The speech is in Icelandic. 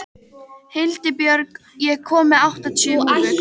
Hildibjörg, ég kom með áttatíu húfur!